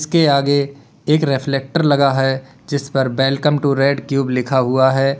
के आगे एक रिफ्लेक्टर लगा है जिस पर वेलकम टू रेड क्यूब लिखा हुआ है।